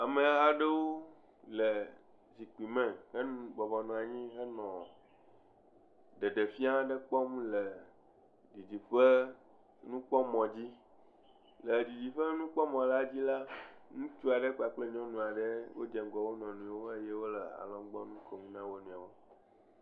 Ame aɖewo le zikpuime hebɔbɔ nɔ anyi henɔ ɖeɖefia aɖe kpɔm le dzidziƒe nukpɔmɔ dzi le dzidziƒenukpɔmɔ la dzi la ŋutsu aɖe kpakple nyɔnu aɖe dze ŋgɔ wonɔewo le alɔgbɔnu kom na wonɔewo